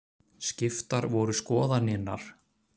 Skiptar voru skoðanirnar.